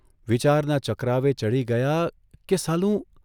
વિચારના ચકરાવે ચઢી ગયા કે સાલું !